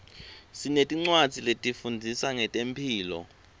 sinetincwadzi letifundzisa ngetemphilo